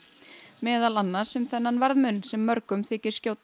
meðal annars um þennan verðmun sem mörgum þykir skjóta